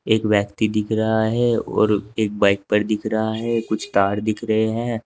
एक व्यक्ति दिख रहा है और एक बाइक पर दिख रहा है कुछ तार दिख रहे हैं।